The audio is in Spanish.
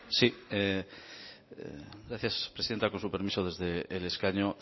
sí gracias presidenta con su permiso desde el escaño